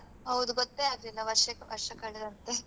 ಹೌದು ಗೊತ್ತೇ ಆಗ್ಲಿಲ್ಲ ವರ್ಷ ವರ್ಷ ಕಳೆದದ್ದೇ